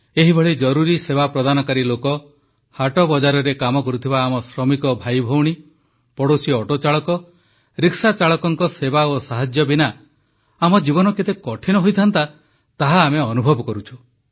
ଏହିଭଳି ଜରୁରି ସେବା ପ୍ରଦାନକାରୀ ଲୋକ ହାଟବଜାରରେ କାମ କରୁଥିବା ଆମ ଶ୍ରମିକ ଭାଇଭଉଣୀ ପଡ଼ୋଶୀ ଅଟୋଚାଳକ ରିକ୍ସାଚାଳକଙ୍କ ସେବା ଓ ସାହାଯ୍ୟ ବିନା ଆମ ଜୀବନ କେତେ କଠିନ ହୋଇଥାଆନ୍ତା ତାହା ଆମେ ଅନୁଭବ କରୁଛୁ